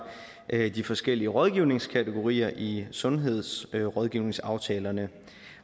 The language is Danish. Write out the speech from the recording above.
de forskellige rådgivningskategorier i sundhedsrådgivningsaftalerne